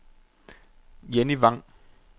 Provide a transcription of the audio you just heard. Jenny Vang